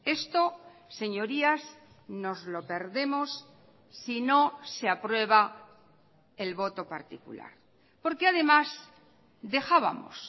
esto señorías nos lo perdemos si no se aprueba el voto particular porque además dejábamos